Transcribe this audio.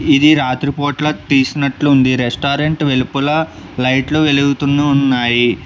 ఇది రాత్రిపూట్ల తీసినట్లు ఉంది రెస్టారెంట్ వెలుపల లైట్లు వెలుగుతునాన్నయి.